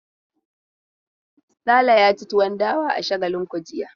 Sale ya ci tuwon dawa a Shagalinku jiya.